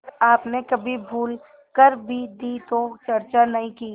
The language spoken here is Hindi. आपने कभी भूल कर भी दी तो चर्चा नहीं की